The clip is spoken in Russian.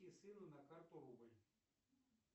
и сыну на карту рубль